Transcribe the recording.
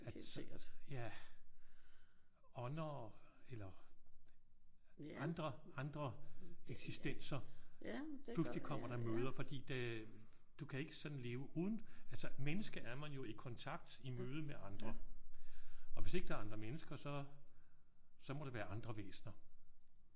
Altså ja ånder og eller andre andre eksistenser pludselig kommer dig i møde. Fordi det du kan ikke sådan leve uden altså menneske er man jo i kontakt. I mødet med andre. Og hvis ikke der er andre mennesker så så må det være andre væsener